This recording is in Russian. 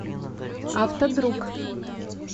автодруг